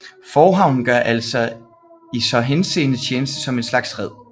Forhavnen gør altså i så henseende tjeneste som en slags red